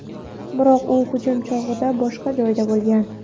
Biroq u hujum chog‘i boshqa joyda bo‘lgan.